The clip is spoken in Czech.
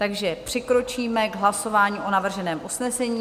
Takže přikročíme k hlasování o navrženém usnesení.